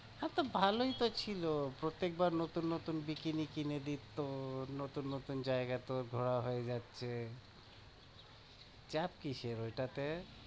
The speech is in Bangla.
হ্যাঁ, তো ভালোই তো ছিল, প্রত্যেকবার নতুন নতুন bikini কিনে দিতো, নতুন নতুন জায়গা তোর ঘোরা হয়ে গেছে চাপ কিসের ওইটাতে?